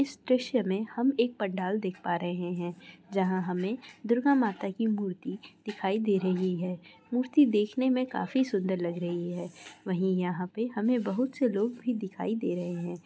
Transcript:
इस दृश्य में हम एक पंडाल देख पा रहे हैं जहां हमें दुर्गा माता की मूर्ति दिखाई दे रही है| मूर्ति देखने में काफी सुंदर लग रही है| वहीं यहां पे हमें बहुत से लोग दिखाई दे रहे हैं।